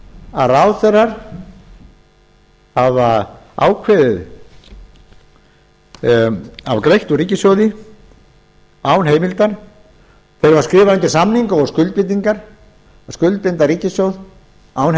að ráðherrar hafa ákveðið að fá greitt úr ríkissjóði án heimildar þeir hafa skrifað undir samninga og skuldbindingar að skuldbinda ríkissjóð án heimilda